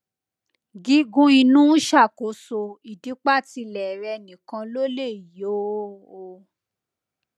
gígùn inú ṣàkóso ìdípatílẹ rè nìkan ló lè yóò o